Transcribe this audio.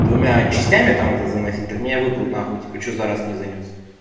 двумя частями там это заносить так меня выпрут на хуй типа почему за раз не занёс